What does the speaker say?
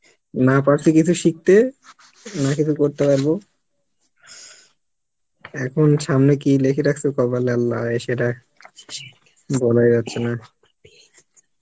না পারসী কিছু সিকতে না কিছু করতে পারবো এখন সামনে কি লিখে রাকসে কপালে Allah সেটা বলা যাচ্ছে না